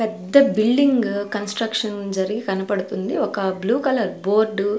పెద్ద building construction జరిగి కనబడుతుంది ఒక బ్లూ కలర్ బోర్డు .